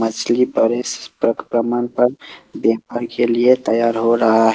असली पर व्यापार के लिए तैयार हो रहा है।